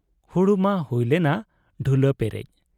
ᱦᱩᱲᱩ ᱢᱟ ᱦᱩᱭ ᱞᱮᱱᱟ ᱰᱷᱩᱞᱟᱹ ᱯᱮᱨᱮᱡ ᱾